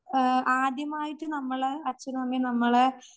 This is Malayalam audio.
ആഹ്